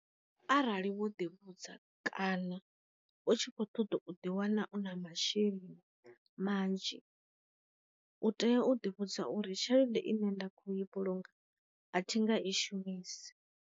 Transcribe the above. Arali wo ḓi vhudza kana u tshi khou ṱoḓa u ḓi wana u na masheleni manzhi, u tea u ḓi vhudza u ri tshelede ine nda kho i vhulunga a thi nga i shumisi.